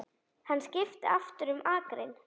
Hann skipti aftur um akrein.